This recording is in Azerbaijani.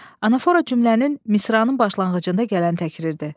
Anafora cümlənin, misranın başlanğıcında gələn təkriirdir.